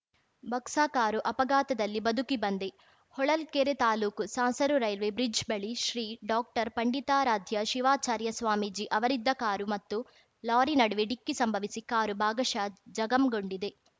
box car ಅಪಘಾತದಲ್ಲಿ ಬದುಕಿ ಬಂದೆ ಹೊಳಲ್ಕೆರೆ ತಾಲೂಕು ಸಾಸಲು ರೈಲ್ವೆ ಬ್ರಿಡ್ಜ್‌ ಬಳಿ ಶ್ರೀ ಡಾಕ್ಟರ್ ಪಂಡಿತಾರಾಧ್ಯ ಶಿವಾಚಾರ್ಯ ಸ್ವಾಮೀಜಿ ಅವರಿದ್ದ ಕಾರು ಮತ್ತು ಲಾರಿ ನಡುವೆ ಡಿಕ್ಕಿ ಸಂಭವಿಸಿ ಕಾರು ಭಾಗಶಃ ಜಖಂಗೊಂಡಿದೆ